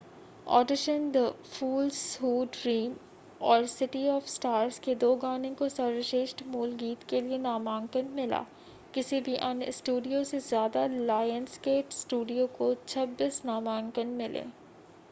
Audition the fools who dream और city of stars के दो गानो को सर्वश्रेष्ठ मूल गीत के लिए नामांकन मिला. किसी भी अन्य स्टूडियो से ज़्यादा — लायंसगेट स्टूडियो को 26 नामांकन मिले